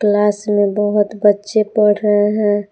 Class में बहुत बच्चे पढ़ रहे हैं।